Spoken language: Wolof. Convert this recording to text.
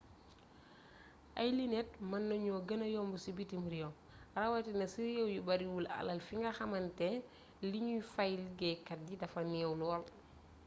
ay linet mën nañu gëna yomb ci bitim réew rawatina ci réew yu bariwul alal fi nga xàmante liñuy fay liggéeykat yi dafa neew lool